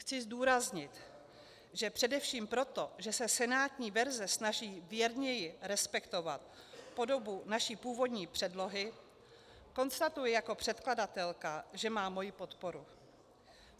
Chci zdůraznit, že především proto, že se senátní verze snaží věrněji respektovat podobu naší původní předlohy, konstatuji jako předkladatelka, že má moji podporu.